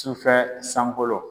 Sufɛ sankolo